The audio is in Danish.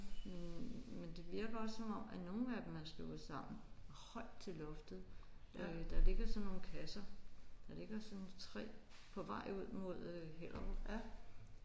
Men men det virker bare som om at nogle af dem er slået sammen højt til loftet øh der ligger sådan nogle kasser der ligger sådan 3 på vej ud mod øh Hellerup